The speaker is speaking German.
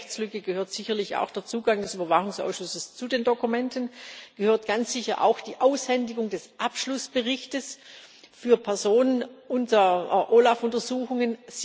Zu dieser Rechtslücke gehört sicherlich auch der Zugang des Überwachungsausschusses zu den Dokumenten und ganz sicher auch die Aushändigung des Abschlussberichtes an Personen unter OLAF Untersuchungen.